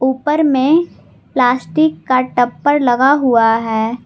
ऊपर में प्लास्टिक का टप्पर लगा हुआ है।